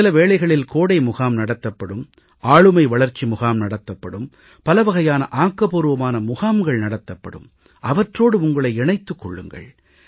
சில வேளைகளில் கோடை முகாம் நடத்தப்படும் ஆளுமை வளர்ச்சி முகாம் நடத்தப்படும் பலவகையான ஆக்கபூர்வமான முகாம்கள் நடத்தப்படும் அவற்றோடு உங்களை இணைத்துக் கொள்ளுங்கள்